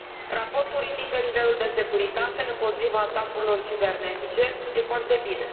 Raportul ridică nivelul de securitate împotriva atacurilor cibernetice, e foarte bine.